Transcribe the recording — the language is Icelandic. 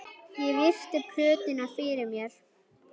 Ég virti plötuna fyrir mér.